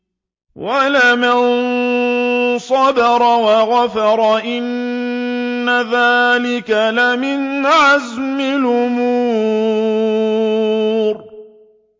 وَلَمَن صَبَرَ وَغَفَرَ إِنَّ ذَٰلِكَ لَمِنْ عَزْمِ الْأُمُورِ